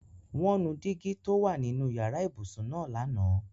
Wọn nù dígi tó o wà nínu yara-íbusun naá lana.